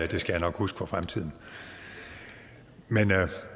det skal jeg nok huske for fremtiden men